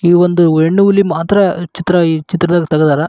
ಈ ಒಂದು ಹೆಣ್ಣು ಹುಲಿ ಮಾತ್ರ ಚಿತ್ರ ಈ ಚಿತ್ರದ್ಲಲಿ ತೆಗೆದಾರ.